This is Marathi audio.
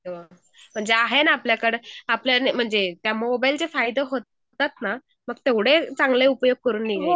हो म्हणजे आहे ना आपल्याकडं म्हणजे त्या मोबाईलचे फायदे होतात ना तेवढे चांगले उपयोग करून घ्यायचे